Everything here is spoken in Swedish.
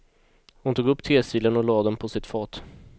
Hon tog upp tesilen och lade den på sitt fat.